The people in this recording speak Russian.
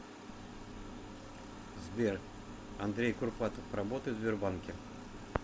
сбер андрей курпатов работает в сбербанке